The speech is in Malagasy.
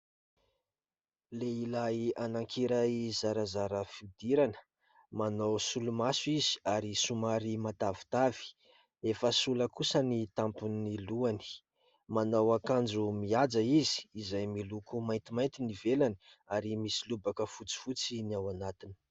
Lehilahy anakiray zarazara fiodirana, manao solomaso izy ary somary matavitavy, efa sola kosa ny tampon'ny lohany. Manao akanjo mihaja izy izay miloko maintimainty ny ivelany ary misy lobaka fotsifotsy ny ao anatiny.